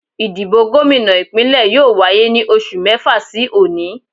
Ìdìbò gómìnà Ìpínlẹ̀ yóò wáyé ní oṣù mẹ́fà sí òní